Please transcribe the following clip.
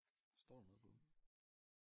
Står der noget på dem?